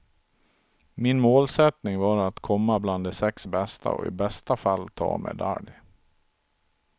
Min målsättning var att komma bland de sex bästa och i bästa fall ta medalj.